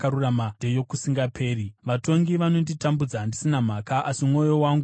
Vatongi vanonditambudza ndisina mhaka, asi mwoyo wangu unodedera pashoko renyu.